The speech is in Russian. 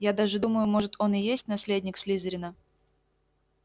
я даже думаю может он и есть наследник слизерина